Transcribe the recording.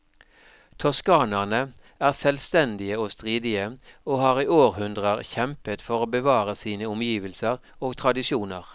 Toskanerne er selvstendige og stridige, og har i århundrer kjempet for å bevare sine omgivelser og tradisjoner.